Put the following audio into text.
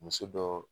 Muso dɔ